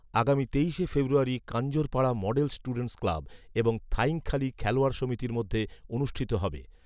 আগামী তেইশে ফেব্রুয়ারী কাঞ্জরপাড়া মডেল স্টুডেন্টস ক্লাব এবং থাইংখালী খেলোয়াড় সমিতির মধ্যে অনুষ্ঠিত হবে